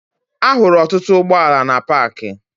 Ahụrụ ọtụtụ ụgbọala na paakị